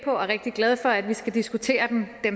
og rigtig glad for at vi skal diskutere den